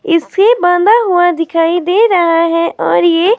इसे बांधा हुआ दिखाई दे रहा है और ये--